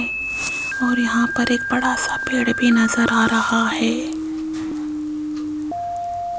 और यहां पर एक बड़ा सा पेड़ भी नजर आ रहा है।